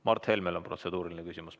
Mart Helmel on protseduuriline küsimus.